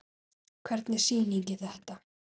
Hvernig sýning er þetta?